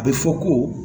A bɛ fɔ ko